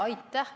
Aitäh!